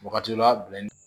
Wagati dɔ la